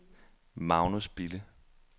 Magnus Bille